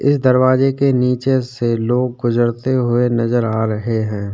ये दरवाजे के नीचे से लोग गुजरते हुए नजर आ रहे हैं।